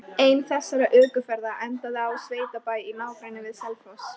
Ein þessara ökuferða endaði á sveitabæ í nágrenni við Selfoss.